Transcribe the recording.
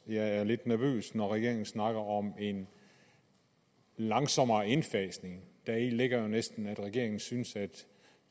jeg er lidt nervøs når regeringen snakker om en langsommere indfasning deri ligger jo næsten at regeringen synes at